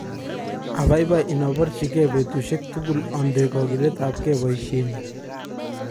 Abaibai inoborchike betushek tugul onde kokiletabge boishenyun.